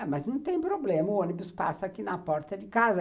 É, mas não tem problema, o ônibus passa aqui na porta de casa.